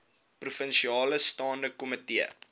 provinsiale staande komitee